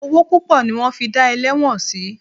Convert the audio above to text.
Owó púpọ̀ ni wọ́n fi dá ẹlẹ́wọ̀n sí.